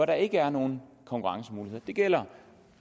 der ikke er nogen konkurrencemuligheder det gælder